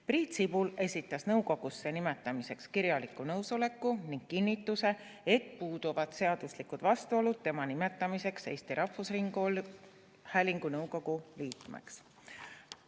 Priit Sibul esitas nõukogusse nimetamiseks kirjaliku nõusoleku ning kinnituse, et puuduvad seaduslikud vastuolud tema nimetamiseks Eesti Rahvusringhäälingu nõukogu liikmeks.